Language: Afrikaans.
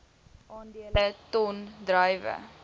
aandele ton druiwe